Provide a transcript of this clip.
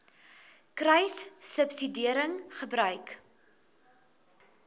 kruissubsidiëringgebruik